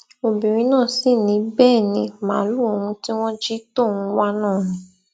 obìnrin náà sì ni bẹẹ ní màálùú òun tí wọn jí tóun ń wá náà ni